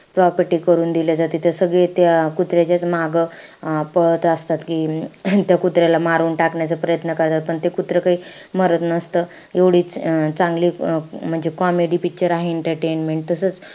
Property करून दिल्या जाते त सगळे त्या कुत्र्याच्याच मागं पळत असतात. कि त्या कुत्र्याला मारून टाकण्याचा प्रयत्न करतात. पण ते कुत्रं काही मरत नसतं. एवढी चांगली म्हणजे अं comedy picture आहे entertainment.